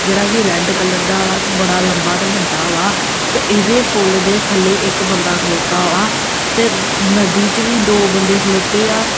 ਜਿਹੜਾ ਕੀ red colour ਦਾ ਵਾ ਤੇ ਬੜਾ ਲੰਬਾ ਤੇ ਵੱਡਾ ਵਾ ਤੇ ਇਹਦੇ ਪੁਲ ਦੇ ਥੱਲੇ ਇੱਕ ਬੰਦਾ ਖਲੌਤਾ ਵਾ ਤੇ ਨਦੀ ਚ ਵੀ ਦੋ ਬੰਦੇ ਖਲੌਤੇ ਆ।